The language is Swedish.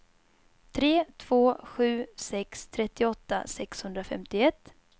tre två sju sex trettioåtta sexhundrafemtioett